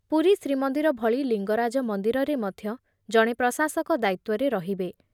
ପୁରୀ ଶ୍ରୀମନ୍ଦିର ଭଳି ଲିଙ୍ଗରାଜ ମନ୍ଦିରରେ ମଧ୍ୟ ଜଣେ ପ୍ରଶାସକ ଦାୟିତ୍ତ୍ଵରେ ରହିବେ।